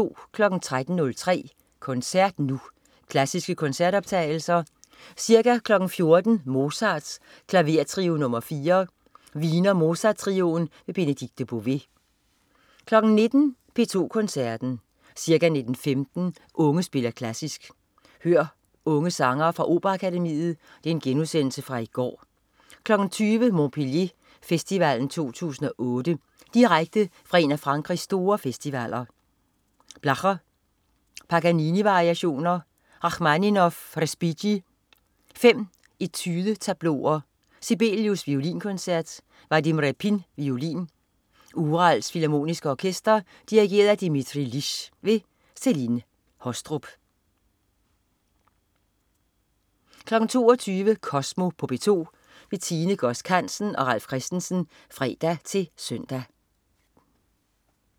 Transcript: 13.03 Koncert Nu. Klassiske koncertoptagelser. Ca. 14.00 Mozart: Klavertrio nr. 4. Wiener Mozart Trioen. Benedikte Bové 19.00 P2 Koncerten. Ca. 19.15 Unge spiller Klassisk. Hør unge sangere fra Operaakademiet (genudsendelse fra i går). 20.00 Montpellier Festivalen 2008. Direkte fra en af Frankrigs store festivaler. Blacher: Paganini-variationer. Rachmaninov/Respighi: Fem Etude-tableau'er. Sibelius: Violinkoncert. Vadim Repin, violin. Urals Filharmoniske Orkester. Dirigent: Dmitrij Liss. Celine Haastrup 22.00 Kosmo på P2. Tine Godsk Hansen og Ralf Christensen (fre-søn)